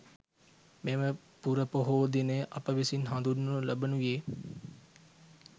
මෙම පුරපොහෝ දිනය අප විසින් හඳුන්වනු ලබනුයේ